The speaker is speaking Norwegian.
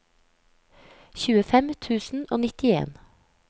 tjuefem tusen og nittien